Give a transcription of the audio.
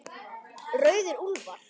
Rauðir úlfar